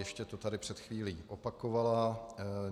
Ještě to tady před chvílí opakovala.